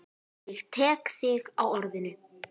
Ég tek þig á orðinu!